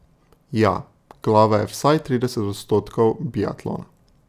Ja, glava je vsaj trideset odstotkov biatlona.